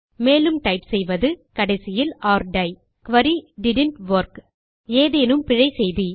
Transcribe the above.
மேலும் டைப் செய்வது கடைசியில் ஒர் டை குரி டிட்ன்ட் வொர்க் ஏதேனும் பிழை செய்து